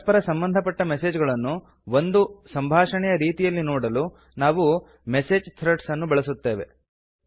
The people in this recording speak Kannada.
ಪರಸ್ಪರ ಸಂಬಧಪಟ್ಟ ಮೆಸೇಜ್ ಗಳನ್ನು ಒಂದು ಸಂಭಾಷಣೆಯ ರೀತಿಯಲ್ಲಿ ನೋಡಲು ನಾವು ಮೆಸೇಜ್ ಥ್ರೆಡ್ಸ್ ಅನ್ನು ಬಳಸುತ್ತೇವೆ